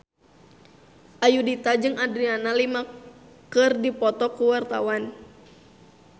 Ayudhita jeung Adriana Lima keur dipoto ku wartawan